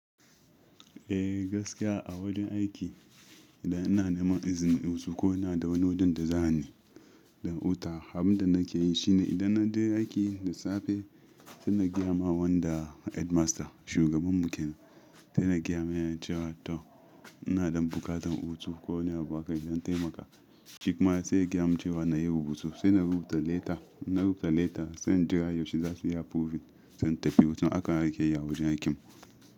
Eh gaskiya a wajen aiki idan ina neman izini in yi wasu ko ina da wani wajen da za'a ni da wuta. Abin da nake yi shi ne idan na je aiki da safe sai na gaya ma wanda headmaster shugaban bikin sai na gaya ma yana cewa to ina ɗan buƙatar hutu ko ina baka don taimaka. Shi kuma sai ya gya mu cewa na yi rubutu sai na rubuta leta. Na rubuta letter sai in jira yaushe za su yi approving zan tafi wajen akan aiki ya yawo wajen aiki.